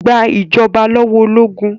Gba ìjọba lọ́wọ́ ológun!